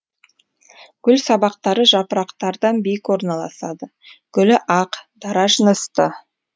гүл сабақтары жапырақтардан биік орналасады гүлі ақ дара жынысты